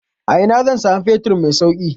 A ina zan samu fetur mai sauki?